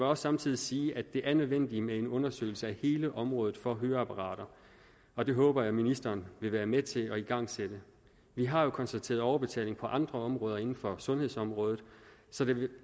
også samtidig sige at det er nødvendigt med en undersøgelse af hele området for høreapparater og det håber jeg at ministeren vil være med til at igangsætte vi har jo konstateret overbetaling på andre områder inden for sundhedsområdet så det vil